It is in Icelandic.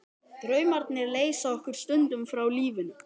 Draumarnir leysa okkur stundum frá lífinu.